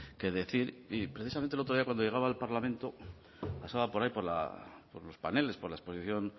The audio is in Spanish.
qué decir y precisamente el otro día cuando llegaba al parlamento pasaba por ahí por los paneles por la exposición